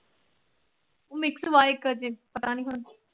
Mix ਵਾ ਪਤਾ ਨੀ ਹੁਣ।